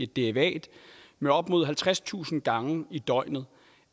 derivat med op mod halvtredstusind gange i døgnet